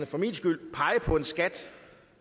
for min skyld pege på en skat